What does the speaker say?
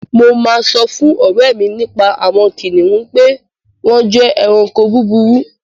Mo máa sọ fún ọ̀rẹ́ mi nípa àwon kìnìún pe wón je eranko búburú